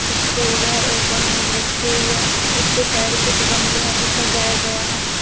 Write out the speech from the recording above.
उससे इधर एक और मेज रखी हुई है उससे साइड कुछ गमले है जो सजाया गया है।